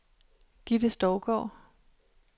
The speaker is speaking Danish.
Gitte Stougaard